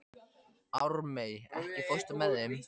Ármey, ekki fórstu með þeim?